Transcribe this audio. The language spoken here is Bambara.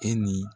E ni